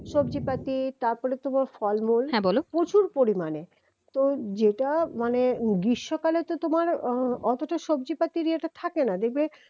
সবজিপাতি তারপর তোমার ফলমূল প্রচুর পরিমাণে তো যেটা মানে গ্রীষ্মকালে তো তোমার উম অতটা সবজি পাতির ইয়েটা থাকেনা দেখবে